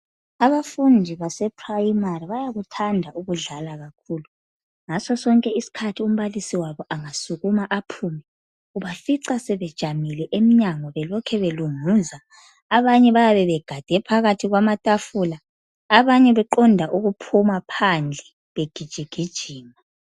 Abafundi basePrimary bayakuthanda ukudlala kakhulu, ngaso sonke isikhathi umbalisi wabo angasukuma aphume ubafica sebejamile emnyango belokhe belunguza, abanye bayabe begade phakathi kwamatafula abanye beqonda ukuphuma phandle begijigijima.